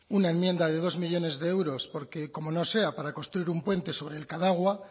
una enmienda de dos millónes de euros porque como no sea para construir un puente sobre el cadagua